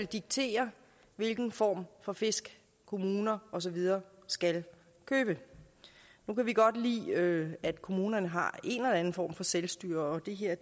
diktere hvilken form for fisk kommuner og så videre skal købe nu kan vi godt lide at kommunerne har en eller anden form for selvstyre og det her er